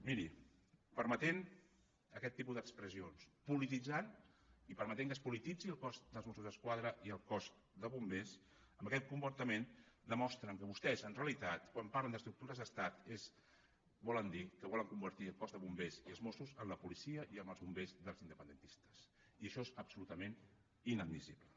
miri permetent aquest tipus d’expressions polititzant i permetent que es polititzin el cos de mossos d’esquadra i el cos de bombers amb aquest comportament demostren que vostès en realitat quan parlen d’estructures d’estat volen dir que volen convertir el cos de bombers i els mossos en la policia i en els bombers dels independentistes i això és absolutament inadmissible